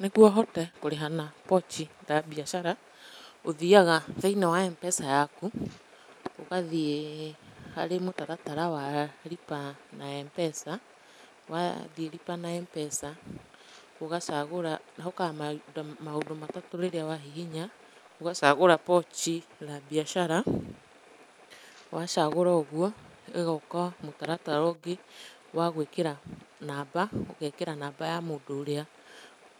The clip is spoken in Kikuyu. Nĩguo hote kũrĩha na Pochi La Biashara, ũthiaga thĩiniĩ wa MPESA yaku, ũgathiĩ harĩ mũtaratara wa Lipa na M-PESA, wathĩ Lipa na M-PESA, ũgacagũra, hokaga maũndũ matatũ rĩrĩa wahihinya. Ũgacagũra Pochi La Biashara. Wacagũra ũguo, ĩgaũka mũtaratara ũngĩ wa gũikĩra namba, ũgeekĩra namba ya mũndũ ũrĩa